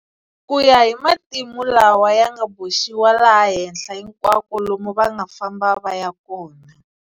Ku ya hi matimu lawa ya nga boxiwa laha henhla hinkwako lomu va nga famba va ya kona.